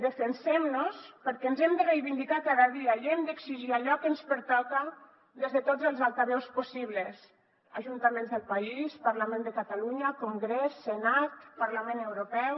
defensem nos perquè ens hem de reivindicar cada dia i hem d’exigir allò que ens pertoca des de tots els altaveus possibles ajuntaments del país parlament de catalunya congrés senat parlament europeu